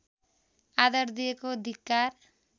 आदर दिएको धिक्कार